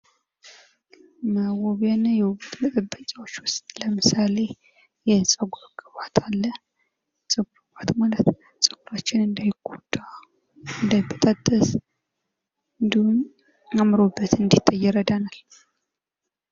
መዋቢያ የውበት መጠበቂያዎች ውስጥ ለምሳሌ የፀጉር ቅባት አለ። የፀጉር ቅባት ማለት ደግሞ ፀጉራችን እንዳይጎዳ እንዳይበጣጠስ እንዲሁም አእምሮበት እንዲታይ ይረዳናል።